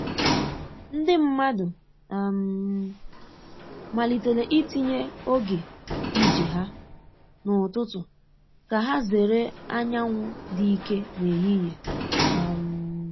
Ndi mmadụ um malitere itinye oge ije ha n’ụtụtụ ka ha zere anyanwụ dị ike n’ehihie. um